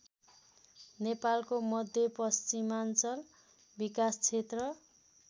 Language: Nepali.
नेपालको मध्यपश्चिमाञ्चल विकासक्षेत्र